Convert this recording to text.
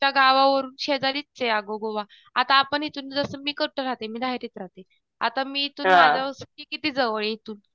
त्यांच्या गावावरून शेजारीच आहे अगं गोवा. आता आपण इथून जसं मी कुठं राहते मी राहते आता मी इथून किती जवळ आहे इथून